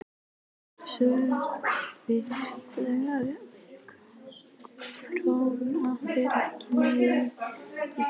Sölvi: Þannig að Krónan fer ekki niður fyrir ykkur?